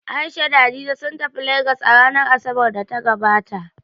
A'isha da Hadiza sun tafi Legas a ranar Asabar da ta gabata